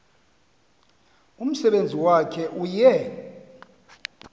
umsebenzi wakhe uye